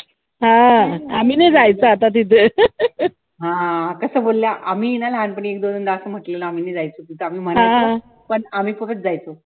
आम्ही नाय जायचो आता तिथे